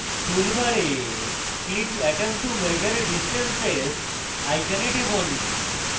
tool bar click atom to measure distances icon টিপুন